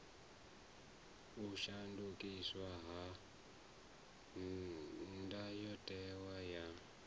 u shandukiswa ha ndayotewa ya